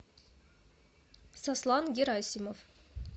сослан герасимов